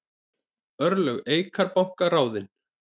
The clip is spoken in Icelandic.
Örlög Eikar banka ráðin